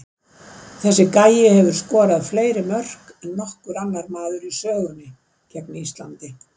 Þessi gæi hefur skorað fleiri mörk en nokkur annar maður í sögunni gegn Íslandi.